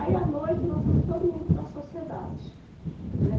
Aí à noite, nós fomos todo mundo para a sociedade, né.